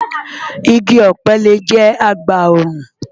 Igi ọ̀pẹ lè jẹ́ agbòòrùn.